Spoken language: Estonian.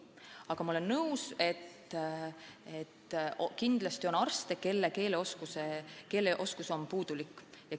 Aga ma olen nõus, et kindlasti on arste, kelle keeleoskus on puudulik.